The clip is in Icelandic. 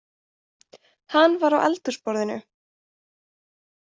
Hann var á eldhúsborðinu